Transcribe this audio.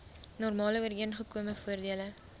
normale ooreengekome voordele